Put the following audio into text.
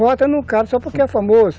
Vota num cara só porque é famoso.